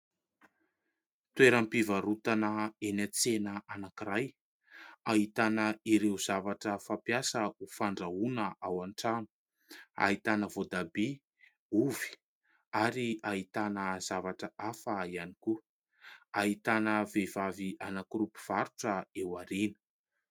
Toeram-pivarotana eny an-tsena anankiray, ahitana ireo zavatra fampiasa ho fandrahoana ao an-trano. Ahitana voatabia, ovy ary hahitana zavatra hafa ihany koa ahitana vehivavy anankiroa mpivarotra eo aoriana.